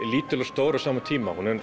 lítil og stór á sama tíma hún er